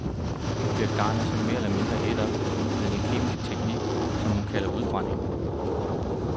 Nu bliver garnet så mere eller mindre ædt op med en kemisk teknik, som hun kalder udbrænding.